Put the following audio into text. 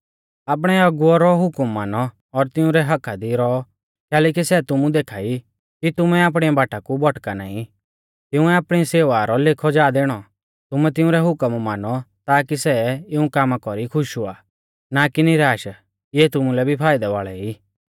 आपणै अगुवौ रौ हुकम मानौ और तिंउरै हक्क्का दी रौऔ कैलैकि सै तुमु देखा ई कि तुमै आपणी बाटा कु भौटका नाईं तिंउऐ आपणी सेवा रौ लेखौ जा दैणौ तुमै तिउंरै हुकम मानौ ताकी सै इऊं कामा कौरी खुश हुआ ना कि निराश इऐ तुमुलै भी फाइदै वाल़ै ई